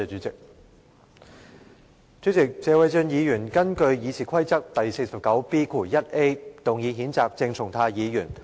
主席，謝偉俊議員根據《議事規則》第 49B 條動議譴責鄭松泰議員。